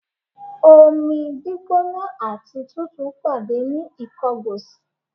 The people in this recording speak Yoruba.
Omi gbígbóná àti tútù pàdé ní Ìkọgòsì.